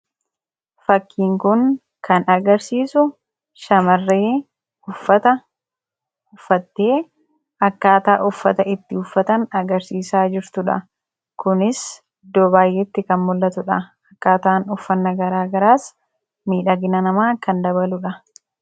fakkiin kun kan agarsiisu shamarree uffata uffattee akkaataa uffata itti uffatan agarsiisaa jirtuudha kunis iddoo baayyetti kan mul, atuudha akkaataan uffanna garaagaraas miidhagna namaa kan dabaluudha